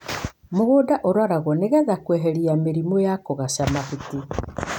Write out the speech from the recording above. Mũgũnda ũroragwo nĩgetha kweheria mĩrimo ta kũgaca mahuti.